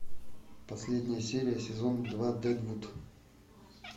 последняя серия сезон два дэдвуд